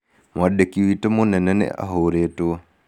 Mwandĩki witũ mũnene nĩ ahũrĩtwo.